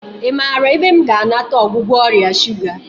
I maara ebe m ga-anata ọgwụgwọ ọrịa shuga?